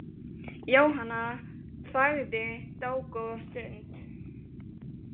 Jóhanna þagði dágóða stund.